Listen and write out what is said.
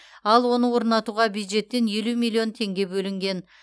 ал оны орнатуға бюджеттен елу миллион теңге бөлінген